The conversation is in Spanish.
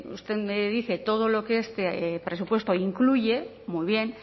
usted me dice todo lo que este presupuesto incluye muy bien